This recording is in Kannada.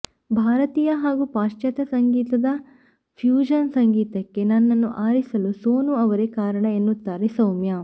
ಭಾರತೀಯ ಹಾಗೂ ಪಾಶ್ಚಾತ್ಯ ಸಂಗೀತದ ಫ್ಯೂಷನ್ ಸಂಗೀತಕ್ಕೆ ನನ್ನನ್ನು ಆರಿಸಲು ಸೋನು ಅವರೇ ಕಾರಣ ಎನ್ನುತ್ತಾರೆ ಸೌಮ್ಯ